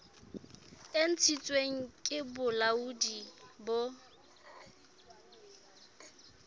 e ntshitsweng ke bolaodi bo